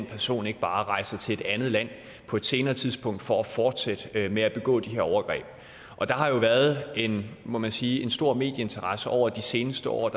person ikke bare rejser til et andet land på et senere tidspunkt for at fortsætte med at begå de her overgreb der har været rettet en må man sige stor medieinteresse over de seneste år og